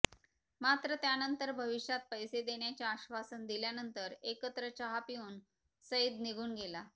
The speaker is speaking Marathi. मात्र त्यानंतर भविष्यात पैसे देण्याचे आश्वासन दिल्यानंतर एकत्र चहा पिऊन सईद निघून गेला